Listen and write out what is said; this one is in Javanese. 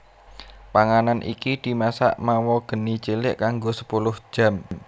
Panganan iki dimasak mawa geni cilik kanggo sepuluh jam